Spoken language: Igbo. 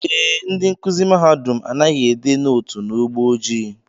Ee, ndị nkụzi mahadum anaghị ede nootu n'ugbo ojii